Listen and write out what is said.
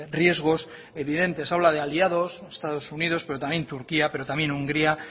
riesgos evidentes habla de aliados estados unidos pero también turquía pero también hungría